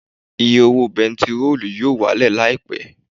Iye owó bẹntiróò yóò wálẹ̀ Láìpẹ́